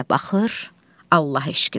O biri də baxır Allah eşqinə.